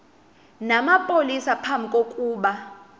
namapolisa phambi kokuba